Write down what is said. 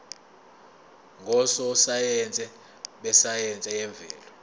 ngososayense besayense yemvelo